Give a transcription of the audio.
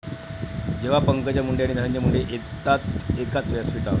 ...जेव्हा पंकजा मुंडे आणि धनंजय मुंडे येतात एकाच व्यासपीठावर